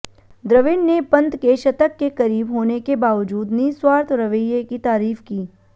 द्रविड़ ने पंत के शतक के करीब होने के बावजूद निस्वार्थ रवैये की तारीफ की